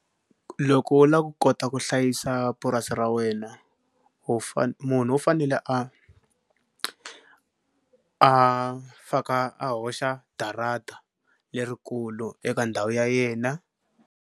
Loko u lava ku kota ku hlayisa purasi ra wena u munhu u fanele a a faka a hoxa darata lerikulu eka ndhawu ya yena.